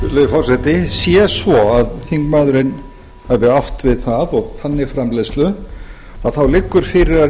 forseti sé svo að þingmaðurinn hafi átt við það og þannig framleiðslu að þá liggur fyrir að